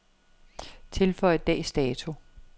Tilføj dags dato.